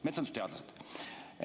Metsandusteadlased.